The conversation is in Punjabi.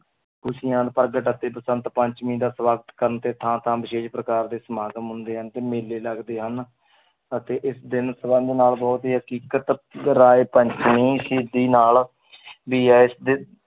ਖ਼ੁਸ਼ੀਆਂ ਪ੍ਰਗਟ ਅਤੇ ਬਸੰਤ ਪੰਚਮੀ ਦਾ ਸਵਾਗਤ ਕਰਨ ਤੇ ਥਾਂ ਥਾਂ ਵਿਸ਼ੇਸ਼ ਪ੍ਰਕਾਰ ਦੇ ਸਮਾਗਮ ਹੁੰਦੇ ਹਨ ਤੇ ਮੇਲੇ ਲੱਗਦੇ ਹਨ ਅਤੇ ਇਸ ਦਿਨ ਹਕੀਕਤ ਰਾਏ ਪੰਚਮੀ ਸ਼ਹੀਦੀ ਨਾਲ ਵੀ